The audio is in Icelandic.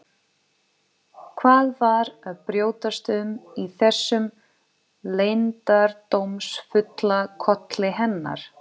Hvað var að brjótast um í þessum leyndardómsfulla kolli hennar?